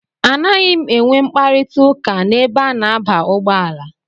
A naghị m enwe mkparita ụka n'ebe a na-aba ụgbọala.